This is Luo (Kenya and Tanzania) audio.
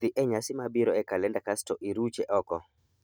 Dhi e nyasi mabiro e kalenda kasto iruche oko.